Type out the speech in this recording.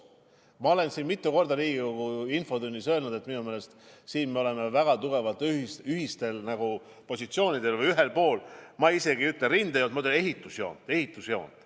Ma olen mitu korda Riigikogu infotunnis öelnud, et minu meelest siin me oleme väga tugevalt ühisel positsioonil või ühel pool, ma ei ütle rindejoont, ma ütlen, ühel pool ehitusjoont.